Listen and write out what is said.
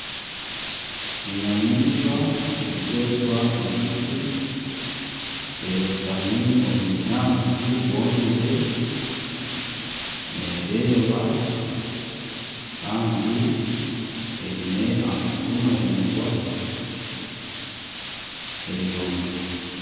Enyamaishwa erikwetwa empitsi erotami omu bunyaatsi bwomire nereeba kandi eine amatu maraingwa eri yonka.